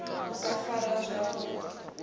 u sa farwa zwavhu ḓi